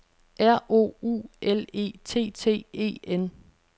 R O U L E T T E N